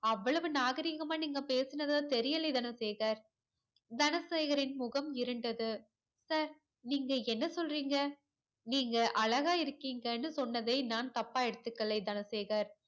அவ்வளவு நாகரீகமா நீங்க பேசுனதா தெரியலையே தனசேகர் தனசேகரின் முகம் இருண்டது sir நீங்க என்ன சொல்றீங்க நீங்க அழகா இருக்கீங்கனு சொன்னதை நான் தப்பா எடுத்துக்களை தனசேகர்